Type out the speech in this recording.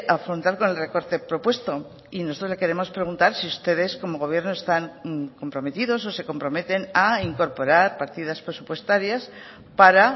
afrontar con el recorte propuesto y nosotros le queremos preguntar si ustedes como gobierno están comprometidos o se comprometen a incorporar partidas presupuestarias para